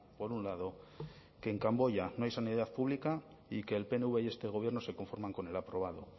por un lado que en camboya no hay sanidad pública y que el pnv y este gobierno se conforman con el aprobado